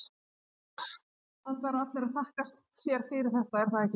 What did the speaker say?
Enda eru allir að þakka sér fyrir þetta, er það ekki?